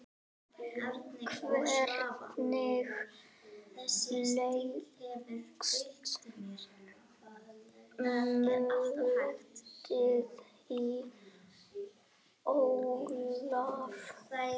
Hvernig leggst mótið í Ólaf?